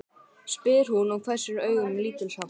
spyr hún og hvessir augun lítilsháttar.